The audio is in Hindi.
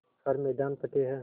हर मैदान फ़तेह